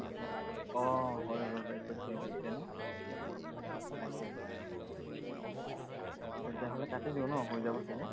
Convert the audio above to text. আহ হৈ গল একৈশ মিনিট হৈছে ন, উম তাকে তেতিয়া হলে কাটি দিওঁ ম হৈ যাব চাগে।